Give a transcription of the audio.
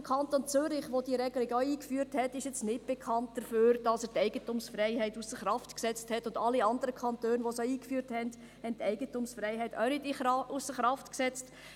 Der Kanton Zürich, welcher diese Regelung auch eingeführt hat, ist nicht bekannt dafür, dass er die Eigentumsfreiheit ausser Kraft gesetzt hat, und alle anderen Kantone, welche das eingeführt haben, haben die Eigentumsfreiheit auch nicht ausser Kraft gesetzt.